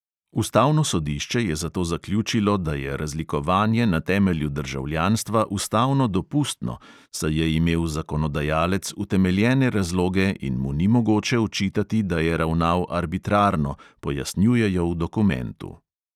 Ustavno sodišče je zato zaključilo, da je razlikovanje na temelju državljanstva ustavno dopustno, saj je imel zakonodajalec utemeljene razloge in mu ni mogoče očitati, da je ravnal arbitrarno, pojasnjujejo v dokumentu.